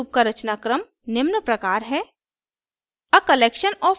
ruby में each loop का रचनाक्रम निम्न प्रकार है: